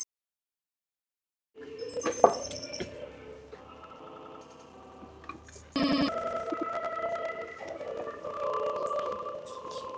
Kókoshnetur fjarlægðar í öryggisskyni